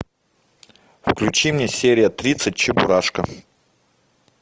включи мне серия тридцать чебурашка